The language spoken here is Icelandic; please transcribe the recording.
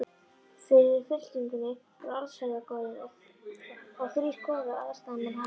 Fyrir fylkingunni fóru allsherjargoðinn og þrír goðar, aðstoðarmenn hans